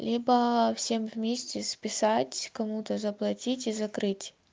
либо всем вместе списать кому-то заплатить и закрыть